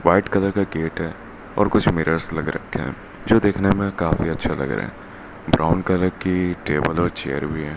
White colour का gate है और कुछ मिरर्स लग रखे हैं जो देखने में काफी अच्छा लग रहें है ब्राउन कलर की टेबल और चेयर भी है।